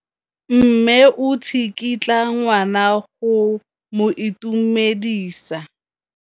Mme o tsikitla ngwana go mo itumedisa.